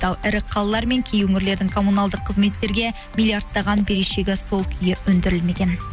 ал ірі қалалар мен кей өңірлердің коммуналдық қызметтерге миллиардтаған берешегі сол күйі өндірілмеген